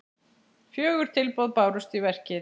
Fjögur tilboð bárust í verkið.